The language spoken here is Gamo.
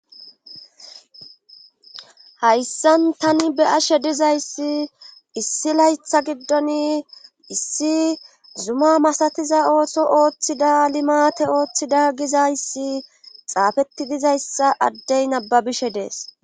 hayssan tani be ashe dizayssi issi laytha giddon issi zuma masatiza ooso ooththida limate ooththida gizayssi xaafetti dizayssa addey nababishe dees